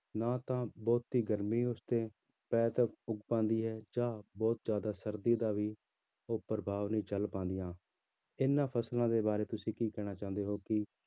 ਨਾ ਤਾਂ ਬਹੁਤੀ ਗਰਮੀ ਉਸ ਤੇ ਪੈਦਾ ਅਹ ਪਾਉਂਦੀ ਹੈ ਜਾਂ ਬਹੁਤ ਜ਼ਿਆਦਾ ਸਰਦੀ ਦਾ ਵੀ ਉਹ ਪ੍ਰਭਾਵ ਨਹੀਂ ਝੱਲ ਪਾਉਂਦੀਆਂ ਇਹਨਾਂ ਫ਼ਸਲਾਂ ਦੇ ਬਾਰੇ ਤੁਸੀਂ ਕੀ ਕਹਿਣਾ ਚਾਹੁੰਦੇ ਹੋ ਕੀ